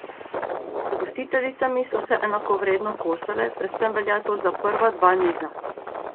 Z gostiteljicami so se enakovredno kosale, predvsem velja to za prva dva niza.